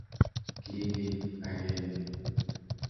Ki key agenge.